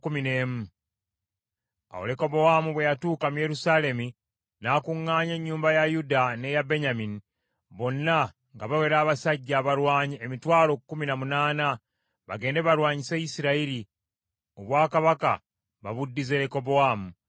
Awo Lekobowaamu bwe yatuuka mu Yerusaalemi, n’akuŋŋaanya ennyumba ya Yuda n’eya Benyamini, bonna nga bawera abasajja abalwanyi emitwalo kkumi na munaana, bagende balwanyise Isirayiri, obwakabaka babuddize Lekobowaamu.